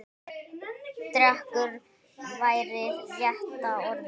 Dekur væri rétta orðið.